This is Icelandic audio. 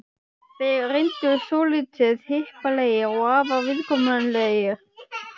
Þeir reyndust svolítið hippalegir og afar viðkunnanlegir.